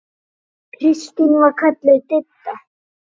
Kristín var kölluð Didda.